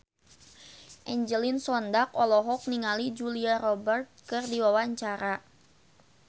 Angelina Sondakh olohok ningali Julia Robert keur diwawancara